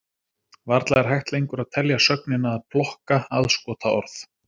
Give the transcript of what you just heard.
Varla er hægt lengur að telja sögnina að plokka aðskotaorð.